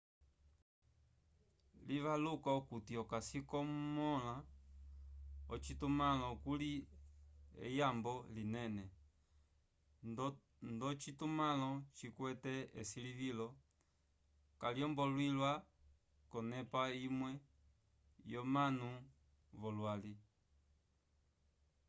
livaluka okuti okasi okumõla ocitumãlo kuli eyambo linene ndocitumãlo cikwete esilivilo kaylombolwiwa k'onepa imwe yomanu v'olwali